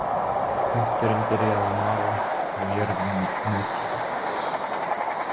Kötturinn byrjaði að mala og jörðin nötraði.